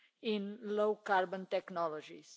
in low carbon technologies.